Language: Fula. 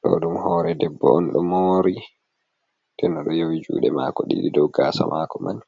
Do ɗum hoore debbo on do mori den odo yowi jude maako didi dow gaasa maako man.